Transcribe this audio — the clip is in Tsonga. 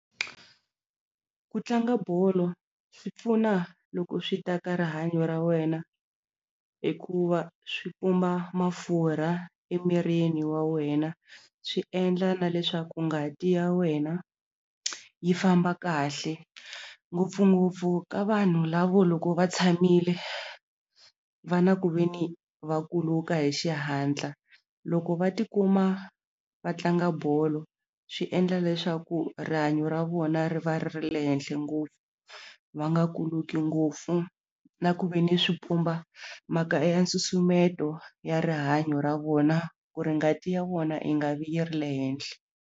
Ku tlanga bolo swi pfuna loko swi ta ka rihanyo ra wena hikuva swi pumba mafurha emirini wa wena swi endla na leswaku ngati ya wena yi famba kahle ngopfungopfu ka vanhu lavo loko va tshamile va na ku ve ni vakuluka hi xihatla loko va tikuma va tlanga bolo swi endla leswaku rihanyo ra vona ri va ri ri le henhle ngopfu va nga kuluki ngopfu na ku ve ni swi pfumba mhaka ya nsusumeto ya rihanyo ra vona ku ri ngati ya vona yi nga vi yi ri le henhle.